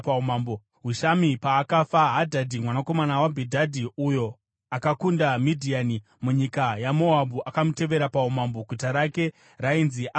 Hushami paakafa, Hadhadhi mwanakomana waBhedhadhi uyo akakunda Midhiani munyika yaMoabhu akamutevera paumambo. Guta rake rainzi Avhiti.